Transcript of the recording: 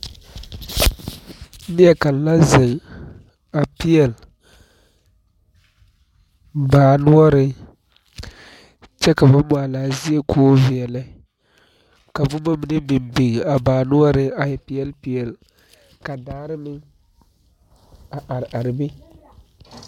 Nie kaŋ la zeŋ a peɛɛl baa noɔreŋ kyɛ ka ba maa laa zie koo veɛlɛ ka bomma mine biŋ biŋ a baa noɔreŋ a e peɛɛl peɛɛl ka daare meŋ a are are be.